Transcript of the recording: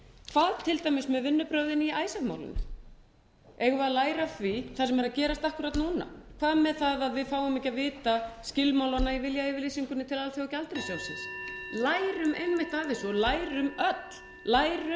hvað til dæmis með vinnubrögðin í icesave málinu eigum við að læra af því það sem er að gerast akkúrat núna hvað með það að við fáum ekki að vita skilmálana í viljayfirlýsingunni til alþjóðagjaldeyrissjóðsins lærum einmitt af þessu og lærum öll lærum